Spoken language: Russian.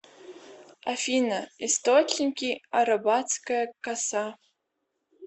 афина источники арабатская коса